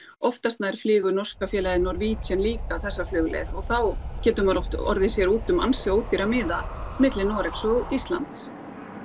oftast nær flýgur norska félagið líka þessa flugleið og þá getur maður oft orðið sér úti um ansi ódýra miða milli Noregs og Íslands